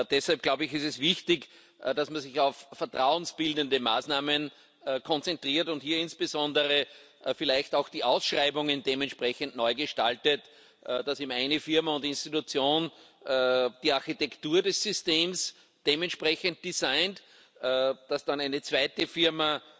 Deshalb, glaube ich, ist es wichtig, dass man sich auf vertrauensbildende Maßnahmen konzentriert und hier insbesondere vielleicht auch die Ausschreibungen dementsprechend neu gestaltet, dass eben eine Firma und Institution die Architektur des Systems dementsprechend designed, dass dann eine zweite Firma